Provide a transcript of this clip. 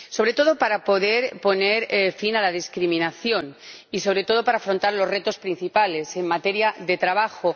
Sobre todo, para poder poner fin a la discriminación y, sobre todo, para afrontar los retos principales en materia de trabajo.